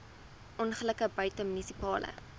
ongelukke buite munisipale